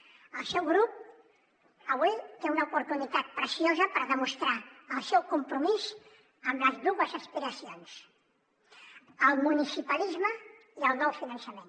el seu grup avui té una oportunitat preciosa per demostrar el seu compromís amb les dues aspiracions el municipalisme i el nou finançament